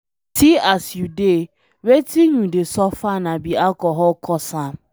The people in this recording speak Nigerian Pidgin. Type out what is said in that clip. See as you dey, wetin you dey suffer na be alcohol cause am.